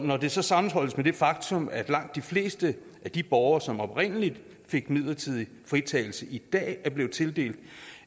når det så sammenholdes med det faktum at langt de fleste af de borgere som oprindelig fik midlertidig fritagelse i dag er blevet tildelt